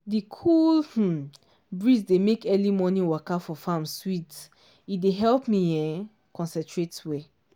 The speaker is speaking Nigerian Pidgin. di cool um breeze dey make early morning waka for farm sweet e dey help me um concentrate well.